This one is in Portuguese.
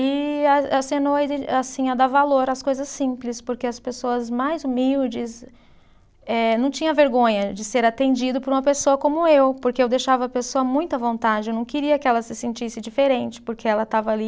E a assim a dar valor às coisas simples, porque as pessoas mais humildes eh, não tinha vergonha de ser atendido por uma pessoa como eu, porque eu deixava a pessoa muito à vontade, eu não queria que ela se sentisse diferente, porque ela estava ali